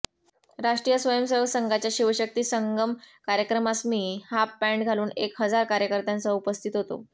राष्ट्रीय स्वयंसेवक संघाच्या शिवशक्ती संगम कार्यक्रमास मी हाफपँट घालून एक हजार कार्यकर्त्यांसह उपस्थित होतो